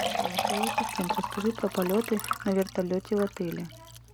голосовой ассистент расскажи про полеты на вертолете в отеле